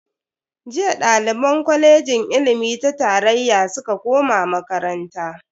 Jiya daliban kwalejin ilimi ta tarayya suka koma makaranta.